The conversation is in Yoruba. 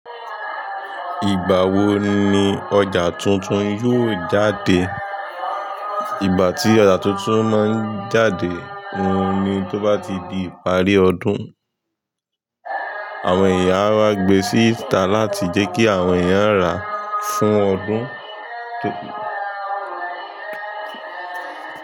Ìgbà wo ni ọjà tuntun yóò jáde? Ìgbà tí ọjà tuntun máa ń jáde ni tó bá ti di ìparí ọdún. Àwọn eeyán áwá gbe síta láti jẹ́ kí àwọn èèyàn rà fún ọdún tó ń bọ̀.